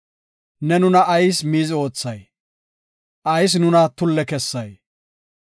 Ne nuna ayis miizi oothay? Ayis nuna tulle kessay?